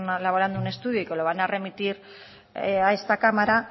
elaborando un estudio y que lo van a remitir a esta cámara